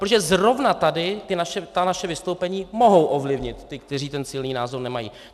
Protože zrovna tady ta naše vystoupení mohou ovlivnit ty, kteří ten silný názor nemají.